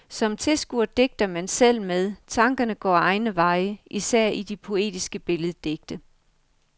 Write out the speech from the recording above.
Som tilskuer digter man selv med, tankerne går egne veje, især i de poetiske billeddigte.